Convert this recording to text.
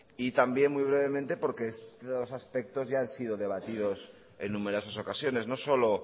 y también muy brevemente porque estos aspectos ya han sido debatidos en numerosas ocasiones no solo